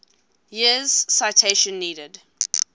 years citation needed